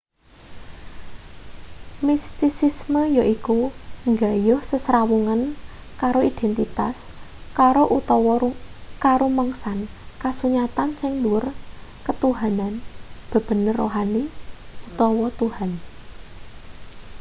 mistisisme yaiku nggayuh sesrawungan karo identitas karo utawa karumangsan kasunyatan sing dhuwur ketuhanan bebener rohani utawa tuhan